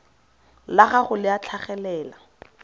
la gago le a tlhagelela